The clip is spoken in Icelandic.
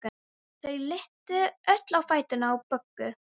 Þau litu öll á fæturna á Boggu.